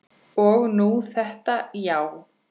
Og nú þetta, já.